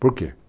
Por quê?